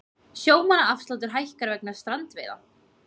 Sjómannaafsláttur hækkar vegna strandveiða